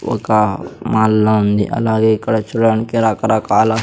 ఒక మాల్ లా ఉంది అలాగే ఇక్కడ చూడడానికి రకరకాల--